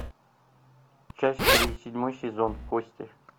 часть три седьмой сезон кости